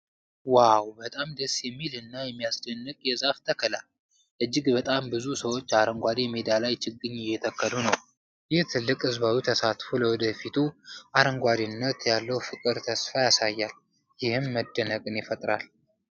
ዋው! በጣም ደስ የሚል እና የሚያስደንቅ የዛፍ ተከላ! እጅግ በጣም ብዙ ሰዎች አረንጓዴ ሜዳ ላይ ችግኝ እየተከሉ ነው። ይህ ትልቅ ህዝባዊ ተሳትፎ ለወደፊቱ አረንጓዴነት ያለውን ፍቅርና ተስፋ ያሳያል፤ ይህም መደነቅን ይፈጥራል።